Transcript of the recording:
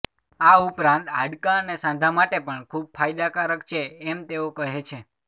આ ઉપરાંત હાડકાં અને સાંધા માટે પણ ખૂબ ફાયદાકારક છે એમ તેઓ કહે છે